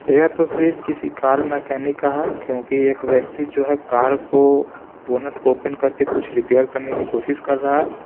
ये तस्वीर किसी कार मैकेनिक का है क्योंकि एक व्यक्ति जो है कार को बोनट को ओपन करके कुछ रिपेयर करने की कोशिश कर रहा है।